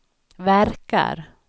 verkar